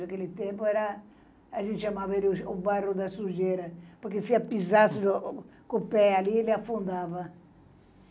Naquele tempo era, a gente chamava o bairro da Sujeira, porque se eu pisasse com o pé ali, ele afundava.